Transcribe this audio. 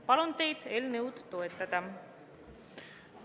Palun teid eelnõu toetada!